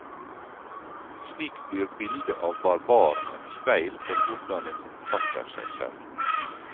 Slik blir bildet av barbaren et speil for hvordan en oppfatter seg selv.